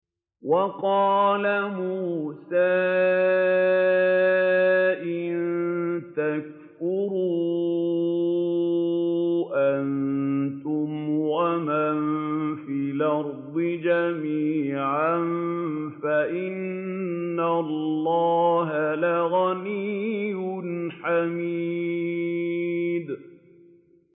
وَقَالَ مُوسَىٰ إِن تَكْفُرُوا أَنتُمْ وَمَن فِي الْأَرْضِ جَمِيعًا فَإِنَّ اللَّهَ لَغَنِيٌّ حَمِيدٌ